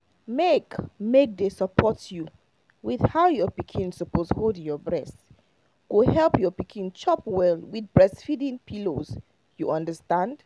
make make they support you with how your pikin suppose hold breast go help your pikin chop well with breastfeeding pillows you understand